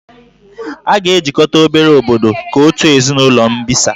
A ga-ejikọta obere obodo ka otu ezinụlọ mbisa